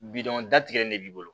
Bidɔn datigɛlen de b'i bolo